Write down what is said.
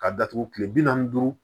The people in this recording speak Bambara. K'a datugu kile bi naani ni duuru